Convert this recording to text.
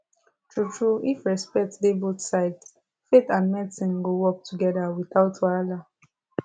truetrue if respect dey both sides faith and medicine go work together without wahala